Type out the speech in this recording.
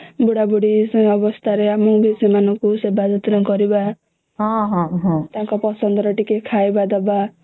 ବୁଢା ବୁଢ଼ୀ ଅବସ୍ଥା ରେ ସେ ମାନଙ୍କୁ ସେବା ଯତ୍ନ କରିବା ତାଙ୍କ ପସନ୍ଦ ର ଟିକେ ଖାଇବ ଦେବା